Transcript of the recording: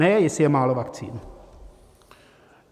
Ne, jestli je málo vakcín.